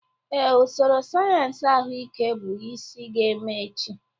Ee, usoro sayensị ahụike bụ isi ga-eme echi.